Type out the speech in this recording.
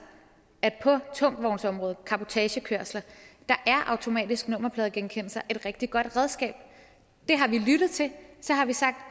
at på tungvognsområdet cabotagekørsler er automatisk nummerpladegenkendelse et rigtig godt redskab det har vi lyttet til så har vi sagt